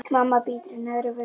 Mamma bítur í neðri vörina.